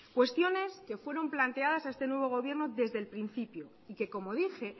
cuestiones que fueron planteadas a este nuevo gobierno desde el principio y que como dije